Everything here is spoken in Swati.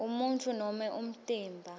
umuntfu nobe umtimba